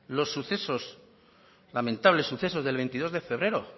los sucesos lamentables sucesos del veintidós de febrero